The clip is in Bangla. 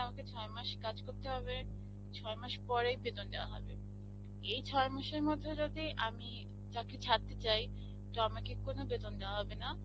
আমাকে ছয়মাস কাজ করতে হবে ছয়মাস পরেই বেতন দেওয়া হবে. এই ছয় মাসের মধ্যে যদি আমি চাকরি ছাড়তে চাই তো আমাকে কোনো বেতন দেওয়া হবেনা.